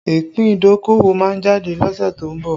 Ìpín idokowo máa jáde lọ́sẹ̀ tó ń bọ̀